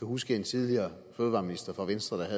huske en tidligere fødevareminister fra venstre der